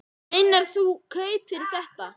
Meinarðu að þú fáir kaup fyrir þetta?